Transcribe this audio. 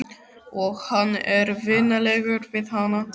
Og hann er vinalegur við hana.